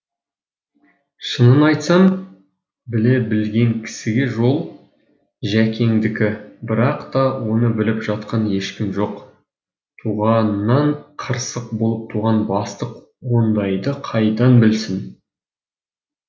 шынын айтсам біле білген кісіге жол жәкеңдікі бірақ та оны біліп жатқан ешкім жоқ туғанынан қырсық болып туған бастық ондайды қайдан білсін